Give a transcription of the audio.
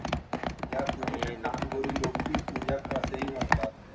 या अरे पूजा असेही म्हणतात